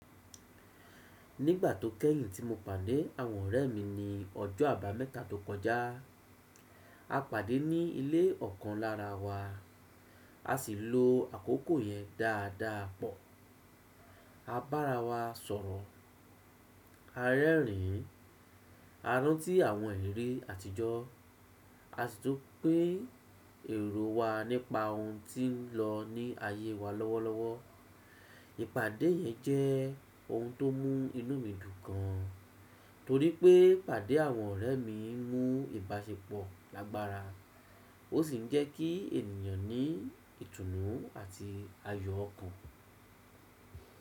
Nígbà tó kẹ́yìn tí mo pàdé àwọn ọ̀rẹ́ mi ní ọjọ́ àbámẹ́ta tó kọjá, a pàdé ní ilé ọ̀kan lára wa, a sì lo àkókò yẹn dáadáa pọ̀. A bára wa sọ̀rọ̀, a rẹ́rìn-ín, a rántí àwọn ìrírí àtijọ́, a sì tún pín èrò wa nípa ohun tí ń lọ ní ayé wa lọ́wọ́lọ́wọ́. Ìpàdé yẹn jẹ́ ohun tó mú inú mi dùn gan, torí pé ìpàdé àwọn ọ̀rẹ́ mi mú ìbáṣepọ̀ lágbára, ó sì ń jẹ́ kí ènìyàn ní ìtùnú àti ayọ̀ ọkàn.